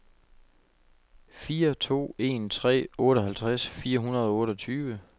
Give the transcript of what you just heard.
fire to en tre otteoghalvtreds fire hundrede og otteogtyve